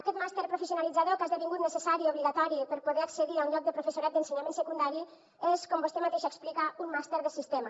aquest màster professionalitzador que ha esdevingut necessari obligatori per poder accedir a un lloc de professorat d’ensenyament secundari és com vostè mateixa explica un màster de sistema